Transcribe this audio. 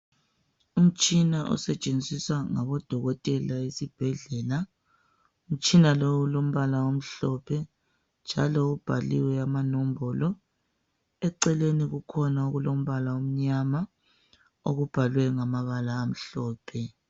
Umtshina osetshenziswa ngabo dokotela esibhedlela, umtshina lowo ulombala omhlophe njalo ubhaliwe ama nombolo eceleni kukhona umbala omnyama okubhalwe ngamabala amhlophe.